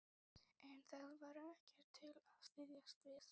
En það var ekkert til að styðjast við.